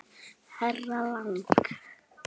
Herra Lang.